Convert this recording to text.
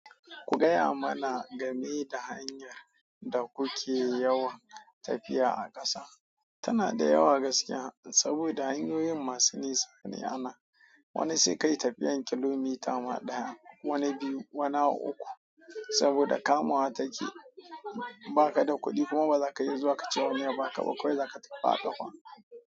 Ku gaya mana game da hanyar da kuke yawan tafiya a ƙasa. Tana da yawa gaskiya saboda hanyoyin masu nisa ne ana. Wani sai ka yi tafiyan kilomita ma daya, wani biyu, wani uku. Saboda kamawar take ba kada kudi kuma baza ka iya zuwa kace ma wani ya baka kawai zaka tafi a kafa.